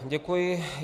Děkuji.